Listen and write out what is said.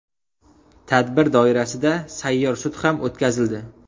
Tadbir doirasida sayyor sud ham o‘tkazildi.